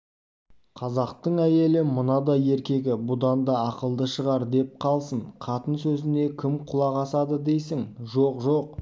қазақтың әйелі мынадай еркегі бұдан да ақылды шығар деп қалсын қатын сөзіне кім құлақ асады дейсің жоқ жоқ